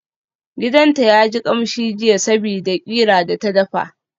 Gidanta yaji kamshi jiya sabida qira da ta dafa.